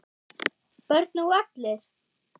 Börn og allir?